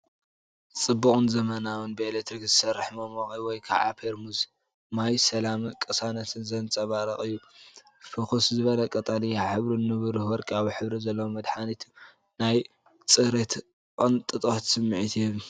ጽቡቕን ዘመናውን ብኤሌክትሪክ ዝሰርሕ መሞቒ ወይ ከዓ ፔርሙዝ ማይ ሰላምን ቅሳነትን ዘንጸባርቕ እዩ። ፍኹስ ዝበለ ቀጠልያ ሕብሩን ንብሩህ ወርቃዊ ሕብሪ ዘለዎ መትሓዚኡን ናይ ጽሬትን ቅንጦትን ስምዒት ይህብ።